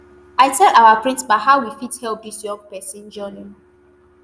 i tell our principal how we fit help dis young pesin journey